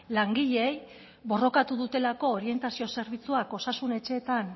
langileei borrokatu dutelako orientazio zerbitzuak osasun etxeetan